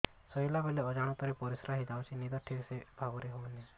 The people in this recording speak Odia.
ଶୋଇଲା ବେଳେ ଅଜାଣତରେ ପରିସ୍ରା ହୋଇଯାଉଛି ନିଦ ଠିକ ଭାବରେ ହେଉ ନାହିଁ